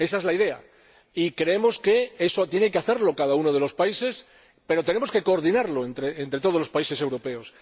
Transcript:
Ésa es la idea, y creemos que debe concretarla cada uno de los países, pero tenemos que coordinarlo entre todos los países europeos.